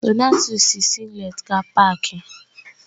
Donatus yi singleti gaa pááki